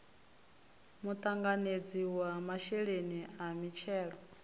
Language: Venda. muṱanganedzi wa masheleni a mithelo